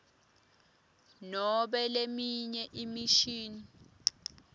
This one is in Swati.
nobe leminye imishini